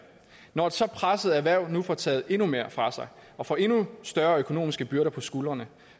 når et så presset erhverv nu får taget endnu mere fra sig og får endnu tungere økonomiske byrder på skuldrene